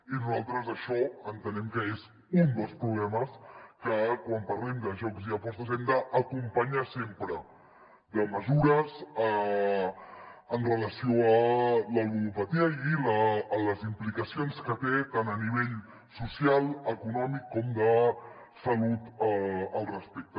i nosaltres això entenem que és un dels problemes que quan parlem de jocs i apostes hem d’acompanyar sempre de mesures en relació amb la ludopatia i amb les implicacions que té tant a nivell social econòmic com de salut al respecte